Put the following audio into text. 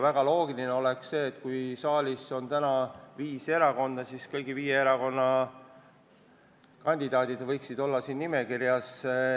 Väga loogiline oleks see, et kui saalis on esindatud viis erakonda, siis kõigi viie erakonna liikmed võiksid olla siin nimekirjas.